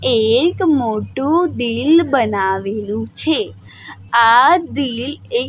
એક મોટું દિલ બનાવેલું છે આ દિલ એક--